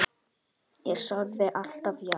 Ég sagði alltaf já.